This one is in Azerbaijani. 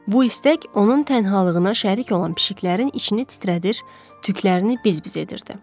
Bu istək onun tənhalığına şərik olan pişkilərin içini titrədir, tüklərini biz-biz edirdi.